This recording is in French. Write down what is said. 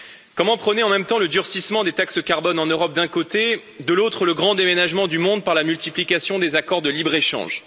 Comment prôner en même temps le durcissement des taxes carbone en Europe d'un côté et de l'autre, le grand déménagement du monde par la multiplication des accords de libre échange.